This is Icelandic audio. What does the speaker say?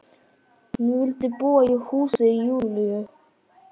Hún vildi búa í húsi Júlíu.